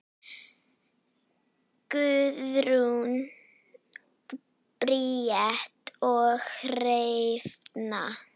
Guðrún Bríet og Hrefna.